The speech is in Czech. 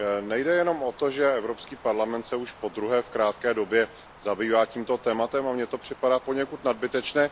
Nejde jenom o to, že Evropský parlament se už podruhé v krátké době zabývá tímto tématem, a mně to připadá poněkud nadbytečné.